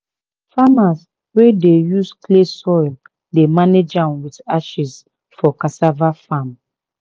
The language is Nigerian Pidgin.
farmers wey dey use clay soil dey manage am with ashes for cassava farm."